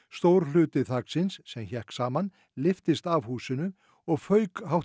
stór hluti þaksins sem hékk saman lyftist af húsinu og fauk